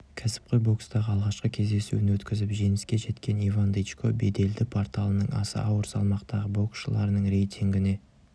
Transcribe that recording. кәсіпқой бокстағы алғашқы кездесуін өткізіп жеңіске жеткен иван дычко беделді порталының аса ауыр салмақтағы боксшылардың рейтингіне